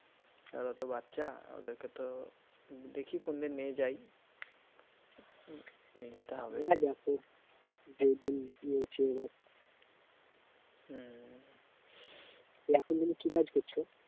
ওরা তো বাচ্চা ওদেরকে তো দেখি কোনদিন নিয়ে যাই নিয়ে যেতে হবে হ্যাঁ দেখো যেদিন হম এখন তুমি কী কাজ করছ?